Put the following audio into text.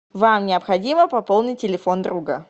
вам необходимо пополнить телефон друга